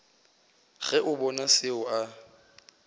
ge a bona seo a